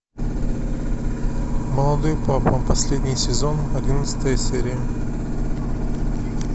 молодой папа последний сезон одиннадцатая серия